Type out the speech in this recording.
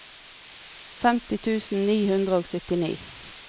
femti tusen ni hundre og syttini